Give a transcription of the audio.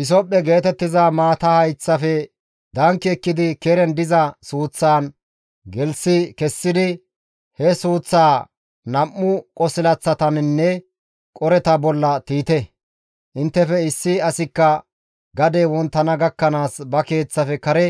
Hisophphe geetettiza maata hayththafe danki ekkidi keren diza suuththaan gelththi kessidi, he suuththaa nam7u qosilaththataninne qoreta bolla tiyite; inttefe issi asikka gadey wonttana gakkanaas ba keeththafe kare